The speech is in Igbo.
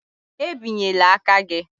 E binyela aka gị?